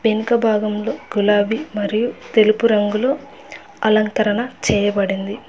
ఎనుక భాగంలో గులాబీ మరియు తెలుపు రంగులో అలంకరణ చేయబడింది.